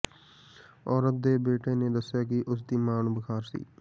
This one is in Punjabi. ਔਰਤ ਦੇ ਬੇਟੇ ਨੇ ਦੱਸਿਆ ਕਿ ਉਸ ਦੀ ਮਾਂ ਨੂੰ ਬੁਖਾਰ ਸੀ